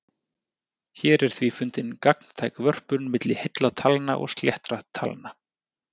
Hér er því fundin gagntæk vörpun milli heilla talna og sléttra talna.